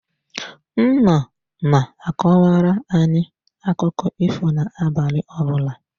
Nna na-akọwara anyị akụkụ ifo na-abalị ọbụla.